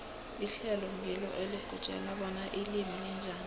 ihlelo ngilo elikutjela bona ilimi linjani